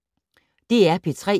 DR P3